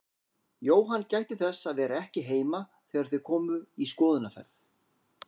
Jóhann gætti þess að vera ekki heima þegar þau komu í skoðunarferð.